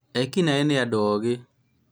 Ekinaĩ nĩ andũ ogĩ